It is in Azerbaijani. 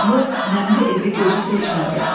Qaranlıq, nəmli evi gözü seçmədi.